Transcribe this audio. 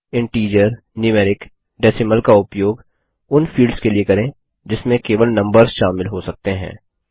integer numeric decimal का उपयोग उन फील्ड्स के लिए करें जिसमें केवल नम्बर्स शामिल हो सकते हैं